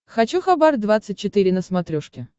хочу хабар двадцать четыре на смотрешке